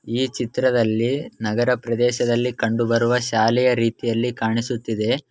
ಈ ಚಿತ್ರದಲ್ಲಿ ನಗರ ಪ್ರದೇಶದಲ್ಲಿ ಕಂಡು ಬರೆಯ ಬರುವ ಶಾಲೆ ಕಾಣಿಸುತ್ತಿದೆ.